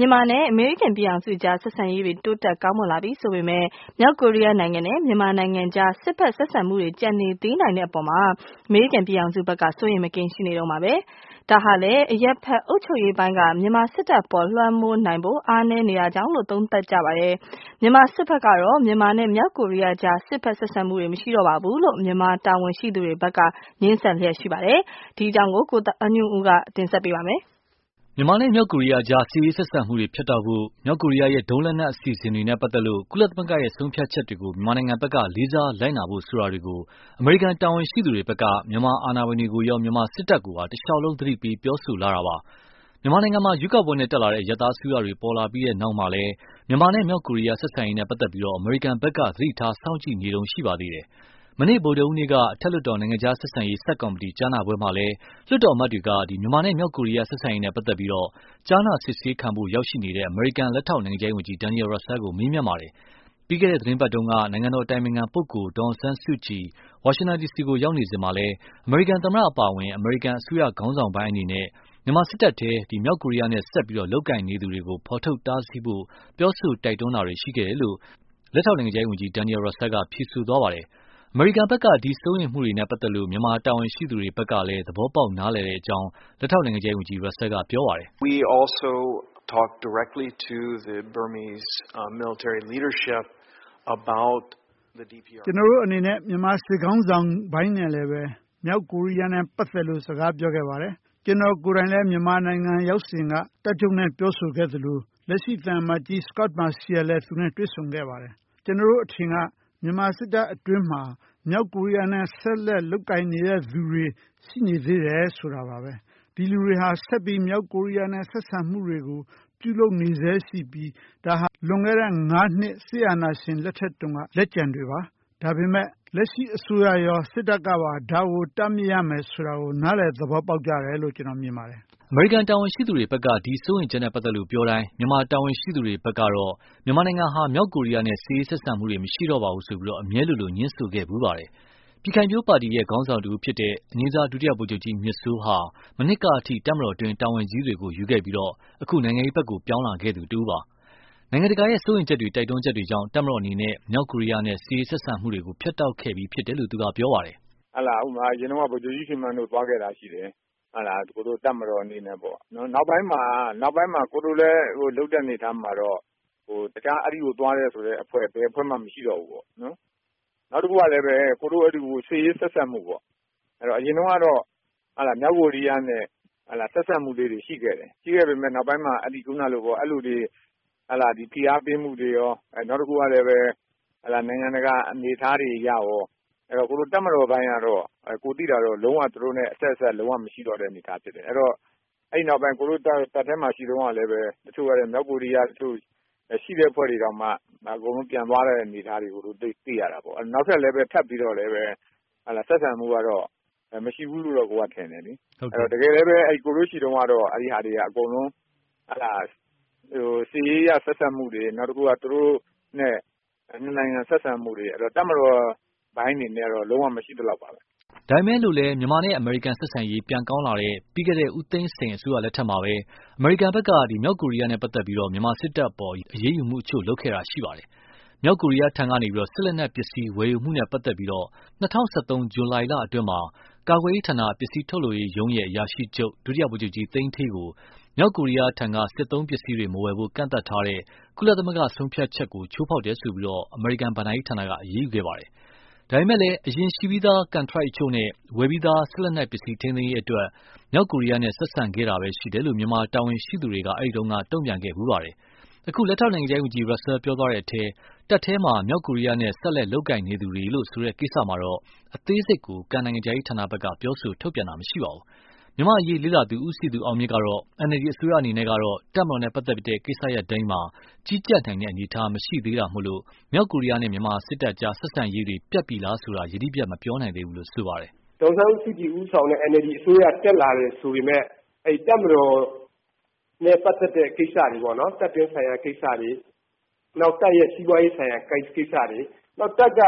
မြန်မာနဲ့ အမေရိကန်ပြည်ထောင်စုအကြား ဆက်ဆံရေးတွေ တိုးတက်ကောင်းမွန်လာပြီဆိုပေမယ့်၊ မြောက်ကိုရီးယားနိုင်ငံနဲ့ မြန်မာနိုင်ငံအကြား စစ်ဖက်ဆက်ဆံမှုတွေ ကျန်နေသေးနိုင်တဲ့အပေါ်မှာ အမေရိကန်ပြည်ထောင်စုဖက်က စိုးရိမ်မကင်းရှိနေတုန်းပါ။ ဒါဟာလည်း အရပ်ဖက်အုပ်ချုပ်ရေးပိုင်းက မြန်မာ စစ်တပ်အပေါ် လွှမ်းမိုးနိုင်ဖို့ အားနည်းနေတာကြောင့်လို့ သုံးသပ်မှုကြပါတယ်။ မြန်မာစစ်ဖက်ကတော့ မြန်မာနဲ့ မြောက်ကိုရီးယားအကြား စစ်ဖက်ဆက်ဆံမှုတွေ မရှိတော့ပါဘူးလို့ မြန်မာတာဝန်ရှိသူတွေဖက်ကတော့ ငြင်းဆန်လျက်ရှိပါတယ်။ ဒီအကြောင်းတွေကိုတော့ ကိုသားညွန့်ဦးက စုစည်းတင်ဆက်ပေးပါမယ်။ မြန်မာနဲ့ မြောက်ကိုရီးယားကြား စစ်ဖက်ဆက်ဆံရေးတွေ ဖြတ်တောက်ဖို့၊ မြောက်ကိုရီးယားရဲ့ ဒုံးလက်နက်အစီအစဉ်တွေနဲ့ပတ်သက်လို့ ကုလသမဂ္ဂရဲ့ ဆုံးဖြတ်ချက်တွေကို မြန်မာဖက်က လေးစားလိုက်နာဖို့ဆိုတာတွေကို အမေရိကန်တာဝန်ရှိသူတွေဖက်က မြန်မာအာဏာပိုင်တွေကိုရော မြန်မာစစ်တပ်ကိုပါ တလျှောက်လုံး သတိပေး ပြောဆိုလာတာပါ။ မြန်မာနိုင်ငံမှာ ရွေးကောာက်ပွဲနဲ့တက်လာတဲ့ အရပ်သားအစိုးရတွေ ပေါ်လာပြီးတဲ့နောက်မှာလည်း၊ မြန်မာနဲ့ မြောက်ကိုရီးယားဆက်ဆံရေးနဲ့ပတ်သက်လို့ အမေရိကန်ဖက်က သတိထား စောင့်ကြည့်နေတုန်းရှိပါသေးတယ်။ မနေ့ ဗုဒဟူးနေ့က အထက်လွှတ်တော်နိုင်ငံခြားဆက်ဆံရေးဆပ်ကော်မတီ ကြားနာပွဲမှာလည်း လွှတ်တော်အမတ်တွေက မြန်မာနဲ့ မြောက်ကိုရီယား ဆက်ဆံရေးနဲ့ပတ်သက်လို့ ကြားနာစစ်ဆေးခံဖို့ ရောက်ရှိနေတဲု့ အမေရိကန် လက်ထောက်နိုင်ငံခြားရေးဝန်ကြီး Daniel Russel ကို မေးမြန်းခဲ့ပါတယ်။ ပြီးခဲ့တဲ့ သီတင်းပတ်တုန်းက နိုင်ငံတော်အတိုင်ပင်ခံပုဂ္ဂိုလ် ဒေါ်အောင်ဆန်းစုကြည် ဝါရှင်တန်ဒီစီကို ရောက်နေစဉ်မှာလည်း အမေရိကန်သမတအပါအဝင် အမေရိကန်အစိုးရခေါင်းဆောင်ပိုင်းအနေနဲ့၊ မြန်မာစစ်တပ်တွင်းက မြောက်ကိုရီယားနဲ့ ဆက်ပြီး လုပ်ကိုင်နေသူတွေကို ဖော်ထုတ်တားဆီးဖို့ ပြောဆိုတိုက်တွန်းခဲ့ကြတယ်လို့ လက်ထောက်နိုင်ငံခြားရေးဝန်ကြီး Daniel Russel က ဖြေဆိုသွားပါတယ်။ အမေရိကန်ဖက်က ဒီ စိုးရိမ်မှုတွေနဲ့ပတ်သက်လို့ မြန်မာတာဝန်ရှိသူတွေဖက်ကလည်း သဘောပေါက်နားလည်ပါတယ်လို့ လက်ထောက်နိုင်ငံခြားရေးဝန်ကြီး Russel က ပြောခဲ့ပါတယ်။ “ကျနော်တို့အနေနဲ့ မြန်မာစစ်ခေါင်းဆောင်ပိုင်းနဲ့လည်းပဲ မြောက်ကိုရီးယားနဲ့ ပတ်သက်လို့ စကားပြောခဲ့ပါတယ်။ ကျနော်ကိုယ်တိုင်လည်း မြန်မာနိုင်ငံ ရောက်စဉ်က တပ်ချုပ်နဲ့ ပြောဆိုခဲ့သလို လက်ရှိ သံအမတ်ကြီး Scot Marciel လည်း သူနဲ့တွေ့ဆုံခဲ့ပါတယ်။ ကျနော်တို့အထင်က မြန်မာစစ်တပ်အတွင်းမှာ မြောက်ကိုရီးယားနဲ့ ဆက်လက် လုပ်ကိုင်နေတဲ့သူတွေ ရှိနေသေးတယ် ဆိုတာပါပဲ။ ဒီလူတွေဟာ ဆက်ပြီး မြောက်ကိုရီးယားနဲ့ ဆက်ဆံမှုတွေကို ပြုလုပ်နေဆဲရှိပြီး၊ ဒါဟာ လွန်ခဲ့တဲ့ ၅ နှစ် စစ်အာဏာရှင်လက်ထက်တုန်းက လက်ကျန်တွေပါ။ ဒါပေမဲ့ လက်ရှိအစိုးရရော၊ စစ်တပ်ကပါ ဒါကို တားမြစ်ရမယ်ဆိုတာကို နားလည်သဘောပေါက်ကြတယ်လို့ ကျနော် မြင်ပါတယ်။” အမေရိကန်တာဝန်ရှိသူတွေဖက်က ဒီစိုးရိမ်ချက်နဲ့ ပတ်သက်လို့ ပြောတိုင်းလည်း မြန်မာတာဝန်ရှိသူတွေဖက်ကတော့ မြန်မာနိုင်ငံဟာ မြောက်ကိုရီယားနဲ့ စစ်ရေးဆက်ဆံမှုတွေ မရှိတော့ပါဘူးလို့ အမြဲလိုလို ငြင်းဆိုခဲ့ဖူးပါတယ်။ ပြည်ခိုင်ဖြိုးပါတီက ခေါင်းဆောင်တဦးဖြစ်တဲ့ အငြိမ်းစား ဒုတိယ ဗိုလ်ချုပ်ကြီးမြင့်စိုးဟာ မနှစ်ကအထိ တပ်မတော်အတွင်း တာဝန်ကြီးတွေကို ယူခဲ့ပြီး၊ နိုင်ငံရေးဖက်ကို ပြောင်းလာခဲ့သူပါ။ နိုင်ငံတကာရဲ့ စိုးရိမ်ချက်တွေ တိုက်တွန်းချက်တွေကြောင့် တပ်မတော်အနေနဲ့ မြောက်ကိုရီယားနဲ့ စစ်ရေးဆက်စပ်မှုတွေကို ဖြတ်တောက်ခဲ့ပြီးဖြစ်တယ်လို့ သူက ပြောပါတယ်။ “ဥပမာ - အရင်တုန်းက ဗိုလ်ချုပ်ကြီးရွှေမန်းတို့သွားခဲ့တာရှိတယ် တပ်မတော်အနေနဲ့ပေါ့နော် နောက်ပိုင်းမှာ သူတို့လုပ်တဲ့အနေအထားမှာတော့ တခြားအဲဒီကိုသွားတယ်ဆိုတဲ့အဖွဲ့ ဘယ်အဖွဲ့မှ မရှိတော့ဘူးပေါ့နော်။ နောက်တခုကလည်း စစ်ရေးဆက်ဆံမှုပေါ့ အရင်တုန်းကတော့ မြောက်ကိုရီယားနဲ့ ဆက်ဆံမှုလေးတွေရှိခဲ့တယ်။ ရှိခဲ့ပေမယ့် နောက်ပိုင်းမှာ အဲလိုဖိအားပေးမှုတွေရော ၊ နောက်တခုက နိုင်ငံတကာတွေအနေအထားတွေအရကော တပ်မတော်ပိုင်းကတော့ သူတို့နဲ့ လုံးဝအဆက်အဆံမရှိတော့တဲ့အနေအထား ဖြစ်တယ်။ အဲဒီနောက်ပိုင်း ကျနော်တို့တပ်ထဲမှာရှိတုန်းက တချို့မြောက်ကိုရီးယားရှိတဲ့အဖွဲ့တွေတောင်မှ အကုန်လုံးပြန်သွားတဲ့အနေအထားတွေကိုတွေ့ရတာပေါ့နော်။ နောက်ထပ်လည်း ထပ်ပြီးတော့ဆက်ဆံမှုကတော့ မရှိဘူးလို့တော့ထင်တယ်လေ။ တကယ်လည်းပဲ ကျနော်တို့ရှိတုန်းကတော့ အဲဒီဟာတွေက အကုန်လုံး စစ်ရေးအရဆက်ဆံမှုတွေ နောက်တခုက သူတို့နဲ့ ၂ နိုင်ငံဆက်ဆံမှုတွေ တပ်မတော်ပိုင်းအနေနဲ့ကတော့ လုံးဝမရှိသလောက်ပါပဲ။” ဒါပေမယ့်လည်း မြန်မာနဲ့ အမေရိကန်ဆက်ဆံရေး ပြန်ကောင်းလာတဲ့ ပြီးခဲ့တဲ့ ဦးသိန်းစိန်အစိုးရလက်ထက်မှာပဲ အမေရိကန်ဖက်က မြောက်ကိုရီယားနဲ့ပတ်သက်လို့ မြန်မာစစ်တပ်အပေါ် အရေးယူမှုအချို့ လုပ်ခဲ့တာရှိပါတယ်။ မြောက်ကိုရီယားထံကနေ စစ်လက်နက်ပစ္စည်းဝယ်ယူမှုနဲ့ပတ်သက်လို့ ၂၀၁၃ ဇူလှိုင်လအတွင်းမှာပဲ ကာကွယ်ရေးဌာန ပစ္စည်းထုတ်လုပ်ရေးရုံးရဲ့ အရာရှိချုပ် ဒုတိယ ဗိုလ်ချုပ်ကြီးသိန်းဌေးကို မြောက်ကိုရီယားထ့က စစ်သုံးပစ္စည်းတွေ မဝယ်ဖို့ ကန့်သတ်ထားတဲ့ ကုလသမဂ္ဂဆုံးဖြတ်ချက်ကို ချိုးဖောက်တယ်ဆိုပြီး အမေရိကန်ဘဏ္ဍာရေးဌာနက အရေးယူခဲ့တာဖြစ်ပါတယ်။ ဒါပေမယ့်လည်း အရင်ရှိပြီးသား ကန်ထရိုက်အချို့နဲ့ ဝယ်ပြီးသား စစ်လက်နက်ပစ္စည်းထိမ်းသိမ်းရေးအတွက် မြောက်ကိုရီးယားနဲ့ ဆက်ဆံခဲ့တာပဲရှိတယ်လို့ မြန်မာတာဝန်ရှိသူအချို့က ပြောဖူးပါတယ်။ အခု လက်ထောက်နိုင်ငံခြားရေးဝန်ကြီး Russel ပြောသွားတဲ့အထဲ တပ်တွင်းမှာ မြောက်ကိုရီးယားနဲ့ ဆက်လက်လုပ်ကိုင်နေသူတွေလို့ ဆိုတဲ့ကိစ္စမှာတော့ အသေးစိတ် ကန် နိုင်ငံခြားရေးဌာနက ပြောဆိုထုတ်ပြန်တာမရှိသေးပါဘူး။ မြန်မာ့အရေးလေ့လာသူ ဦးစည်သူအောင်မြင့်ကတော့ NLD အစိုးရအနေနဲ့ကတော့ တပ်မတော်နဲ့ပတ်သက်လို့ ကိစ္စရပ်တွေမှာ ကြီးကြပ်နိုင်တဲ့အနေအထားမရှိသေးတာကြောင့် မြောက်ကိုရီးယားနဲ့ မြန်မာတပ်အကြား ဆက်ဆံရေးတွေ ပြတ်ပြီလားဆိုတာ ယတိပြတ်မပြောနိုင်သေးဘူးလို့ ဆိုပါတယ်။ “ဒေါ်အောင်ဆန်းစုကြည်ဦးဆောင်တဲ့ NLD အစိုးရတက်လာတယ်ဆိုပေမယ့် တပ်မတော်နဲ့ပတ်သက်တဲ့ကိစ္စတွေပေါ့နော် တပ်တွင်းဆိုင်ရာကိစ္စတွေ ၊ နောက်တပ်ရဲ့ စီးပွားရေးဆိုင်ရာ ကိစ္စတွေ နောက်တပ်က